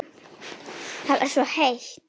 Það var svo heitt.